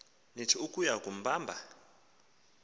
nith ukuya kumbamba